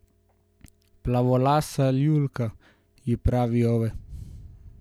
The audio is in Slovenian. Plavolasa Ljulka, ji pravi Ove.